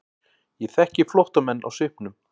Ég þekki flóttamenn á svipnum.